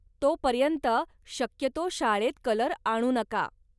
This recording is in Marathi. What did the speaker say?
तोपर्यंत, शक्यतो शाळेत कलर आणू नका.